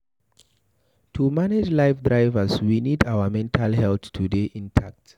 To manage life drivers we need our mental health to dey intact